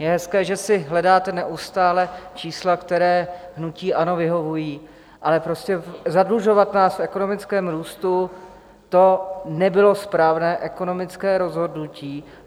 Je hezké, že si hledáte neustále čísla, která hnutí ANO vyhovují, ale prostě zadlužovat nás v ekonomickém růstu, to nebylo správné ekonomické rozhodnutí.